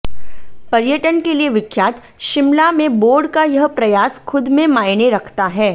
पर्यटन के लिए विख्यात शिमला में बोर्ड का यह प्रयास खुद में मायने रखता है